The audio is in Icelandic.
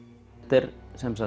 er